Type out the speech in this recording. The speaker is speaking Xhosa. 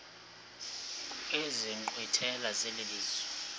kwezi nkqwithela zelizwe